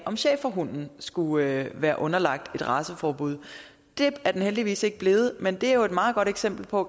om schæferhunden skulle være underlagt et raceforbud det er den heldigvis ikke blevet men det er jo et meget godt eksempel på